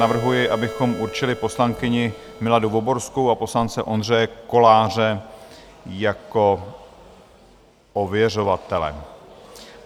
Navrhuji, abychom určili poslankyni Miladu Voborskou a poslance Ondřeje Koláře jako ověřovatele.